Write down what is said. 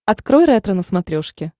открой ретро на смотрешке